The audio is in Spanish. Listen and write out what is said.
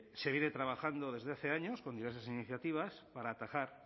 se viene trabajando desde hace años con diversas iniciativas para atajar